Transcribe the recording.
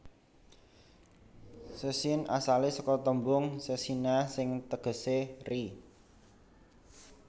Szczecin asalé saka tembung szczecina sing tegesé ri